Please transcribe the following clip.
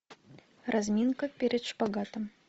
разминка перед шпагатом